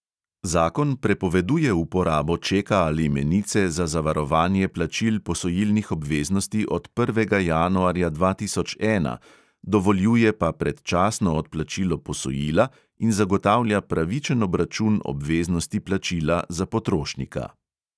Zakon prepoveduje uporabo čeka ali menice za zavarovanje plačil posojilnih obveznosti od prvega januarja dva tisoč ena, dovoljuje pa predčasno odplačilo posojila in zagotavlja pravičen obračun obveznosti plačila za potrošnika.